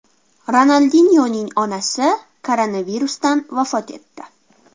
Ronaldinyoning onasi koronavirusdan vafot etdi.